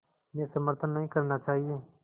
में समर्थन नहीं करना चाहिए